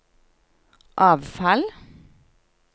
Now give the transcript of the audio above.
avfall